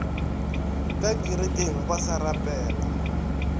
ka kerekeng ba sa rapela